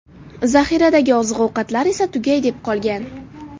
Zaxiradagi oziq-ovqatlar esa tugay deb qolgan.